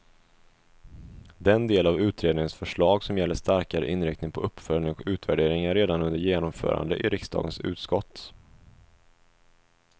Den del av utredningens förslag som gäller starkare inriktning på uppföljning och utvärdering är redan under genomförande i riksdagens utskott.